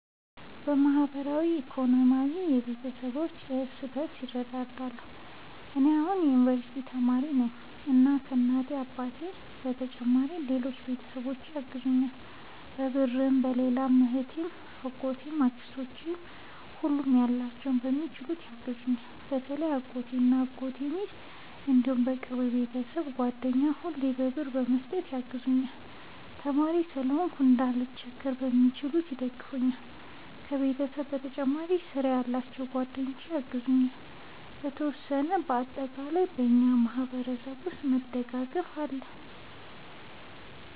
በማህበራዊም በኢኮኖሚም ቤተሰባችን እርስ በርስ ይረዳዳል። እኔ አሁን የዩንቨርስቲ ተማሪ ነኝ እና ከ እናት አባቴ በተጨማሪ ሌሎች ቤተሰቦቼ ያግዙኛል በብርም በሌላም እህቴ አጎቶቼ አክስቶቼ ሁሉም ያላቸውን በሚችሉት ያግዙኛል። በተለይ አጎቴ እና የአጎቴ ሚስት እንዲሁም የቅርብ የቤተሰብ ጓደኛ ሁሌ ብር በመስጠት ያግዙኛል። ተማሪም ስለሆንኩ እንዳልቸገር በሚችሉት ይደግፈኛል። ከቤተሰብ በተጨማሪ ስራ ያላቸው ጓደኞቼ ያግዙኛል የተወሰነ። እና በአጠቃላይ በእኛ ማህበረሰብ ውስጥ መደጋገፍ አለ